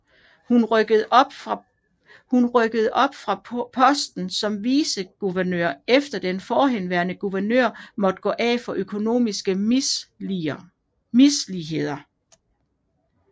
Hun rykkede op fra posten som viceguvernør efter at den forhenværende guvernør måtte gå af for økonomiske misligheder